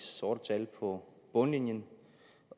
sorte tal på bundlinjen